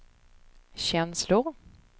känslor